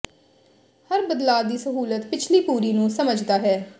ਹਰ ਬਦਲਾਅ ਦੀ ਸਹੂਲਤ ਪਿਛਲੀ ਪੂਰੀ ਨੂੰ ਸਮਝਦਾ ਹੈ